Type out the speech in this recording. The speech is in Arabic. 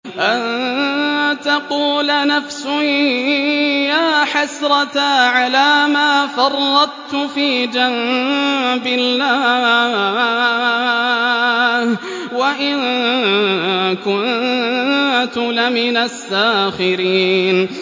أَن تَقُولَ نَفْسٌ يَا حَسْرَتَا عَلَىٰ مَا فَرَّطتُ فِي جَنبِ اللَّهِ وَإِن كُنتُ لَمِنَ السَّاخِرِينَ